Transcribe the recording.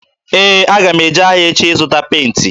Ee, aga m eje ahịa echi ịga zụta penti.